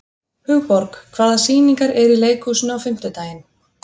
Hugborg, hvaða sýningar eru í leikhúsinu á fimmtudaginn?